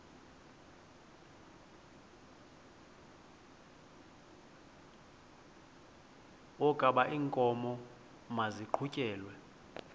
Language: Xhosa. wokaba iinkomo maziqhutyelwe